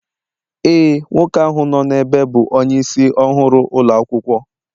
Ee, nwoke ahụ nọ n'ebe bụ onyeisi ọhụrụ ụlọ akwụkwọ